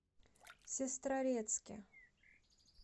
сестрорецке